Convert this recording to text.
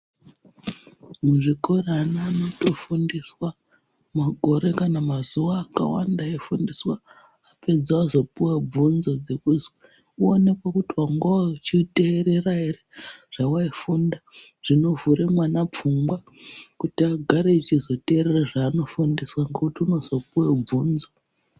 Muzvikora ana anotofundiswa makore kana mazuva akawanda eifundiswa apedza vozopiva bvunzo dzekuzi uonekwe kuti vangauchiterera ere zvavai funda. Zvinovhura mwana pfungwa kuti agare achizoterera zvaanofundiswa ngekuti unozopive bvunzo.